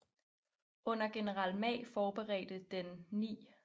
Under general Ma forberedte den 9